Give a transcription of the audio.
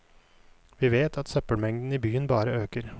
Vi vet at søppelmengden i byen bare øker.